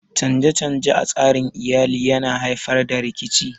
Canje-canje a tsarin Iyali yana haifar da rikici